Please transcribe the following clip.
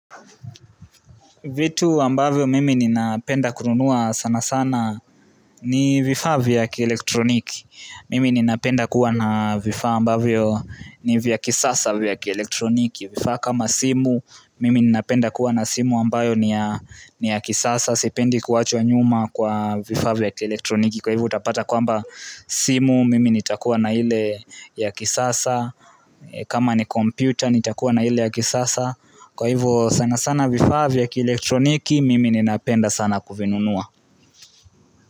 Vitu ambavyo mimi ninapenda kununua sana sana, ni vifaa vya kielektroniki. Mimi ninapenda kuwa na vifaa ambavyo ni vya kisasa vya kielektroniki. Vifa kama simu, mimi ninapenda kuwa na simu ambayo ni ya kisasa. Sipendi kuachwa nyuma kwa vifaa vya kielektroniki. Kwa hivo utapata kwamba, simu mimi nitakuwa na ile ya kisasa. Kama ni kompyuta nitakuwa na ile ya kisasa. Kwa hivyo sana sana vifaa vya kielektroniki mimi ninapenda sana kuvinunua.